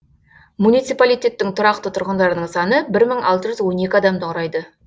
муниципалитеттің тұрақты тұрғындарының саны бір мың алты жүз он екі адамды құрайы